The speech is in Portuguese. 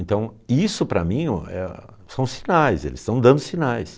Então, isso para mim o é são sinais, eles estão dando sinais.